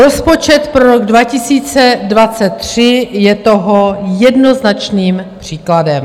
Rozpočet pro rok 2023 je toho jednoznačným příkladem.